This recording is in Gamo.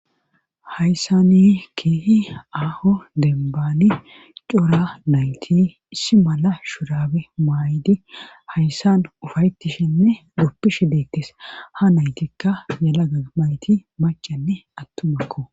hayssani kehi aaho dembani cora nayti issi mala shurabe maaydi hayssan ufaytishinne goppishi deettes ha naytikka yala gamayti macanne attumakko